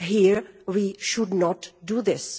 Here, we should not do this.